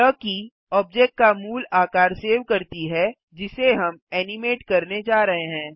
यह की ऑब्जेक्ट का मूल आकार सेव करती है जिसे हम एनिमेट करने जा रहे हैं